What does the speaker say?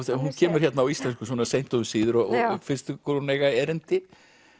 hún kemur hérna á íslensku svona seint og um síðir og finnst ykkur hún eiga erindi